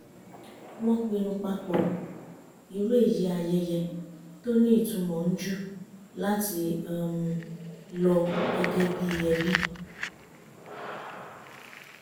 wọ́n pinnu papọ̀ irú èyí ayẹyẹ tó ní ìtumọ̀ njù láti um lọ gẹ́gẹ́ bí i ẹbí